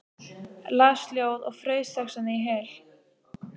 Las ljóð og fraus þessvegna í hel.